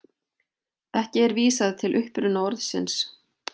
Ekki er vísað til uppruna orðsins.